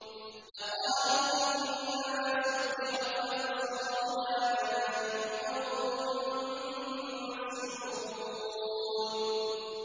لَقَالُوا إِنَّمَا سُكِّرَتْ أَبْصَارُنَا بَلْ نَحْنُ قَوْمٌ مَّسْحُورُونَ